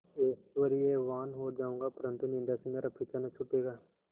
ऐश्वर्यवान् हो जाऊँगा परन्तु निन्दा से मेरा पीछा न छूटेगा